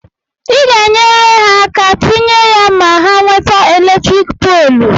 ị ga-enyere ha aka tinye ya ma ha nweta eletrik polu